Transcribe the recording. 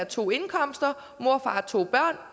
to indkomster